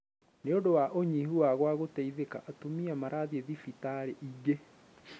Nï ũndũ wa ũnyihu wa gwa gũteithika, Atumia marathiĩ thibitarĩ ingĩ